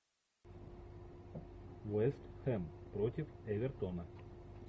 вест хэм против эвертона